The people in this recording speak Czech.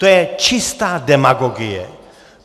To je čistá demagogie.